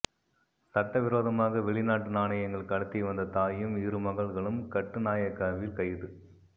சட்டவிரோதமாக வெளிநாட்டு நாணயங்கள் கடத்தி வந்த தாயும் இரு மகள்களும் கட்டுநாயக்காவில் கைது